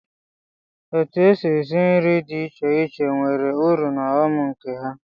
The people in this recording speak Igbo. Otu èsị́ esi nri dị iche iche nwere ụrụ na ọghọm nke ha.